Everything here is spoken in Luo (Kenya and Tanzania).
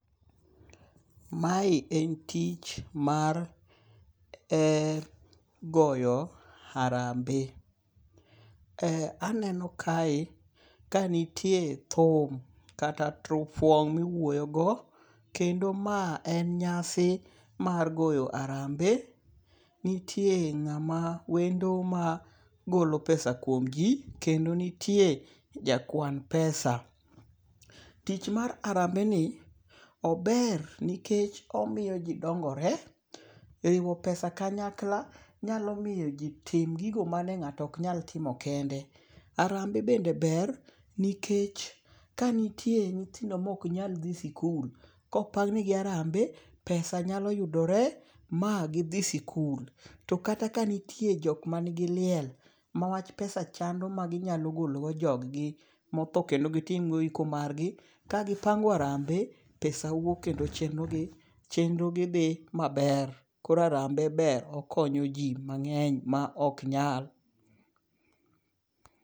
Mae en tich mar goyo arambe. Aneno kae kanitie thum kata turfwong' miwuoyo go. Kendo ma en nyasi mar goyo arambe. Nitie ng'ama wendo ma golo pesa kuom ji kendo nitie jakwan pesa. Tich mar arambe ni ober nikech omiyo ji dongore. Riwo pesa kanyakla nyalo miyo ji tim gigo mane ng'ato ok nyal timo kende. Arambe bende ber nikech kanitie nyithindo mok nyal dhie sikul. Kopang ne gi arambe, pesa nyalo yudore ma gidhi sikul. To kata ka nitie jok mani gi liel ma wach pesa chando maginyalo golo go jog gi motho kendo kitim go iko margi, ka kipango arambe pesa wuok kendo chenro gi dhi maber. Koro arambe ber okonyo ji mang'eny ma ok nyal.